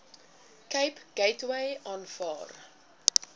cape gateway aanvaar